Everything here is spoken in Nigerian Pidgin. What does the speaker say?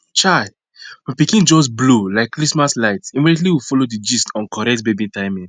chai my pikin just blow like christmas light immediately we follow the gist on correct baby food timing